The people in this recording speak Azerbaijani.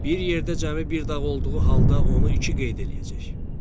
Bir yerdə cəmi bir dağ olduğu halda onu iki qeyd eləyəcək.